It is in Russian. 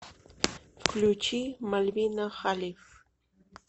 включи мальвина халиф